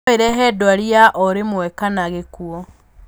No ĩrehe ndwari ya orĩmwe kana gĩkuũ.